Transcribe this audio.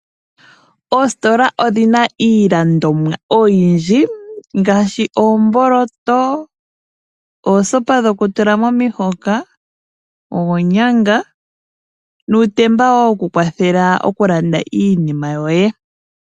Oositola odhina iilandomwa oyindji ngaashi oomboloto, oosopa dhokutula momihoka, oonyanga nuutemba wo wokukwatelwa iinima.